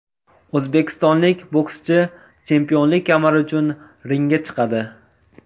O‘zbekistonlik bokschi chempionlik kamari uchun ringga chiqadi.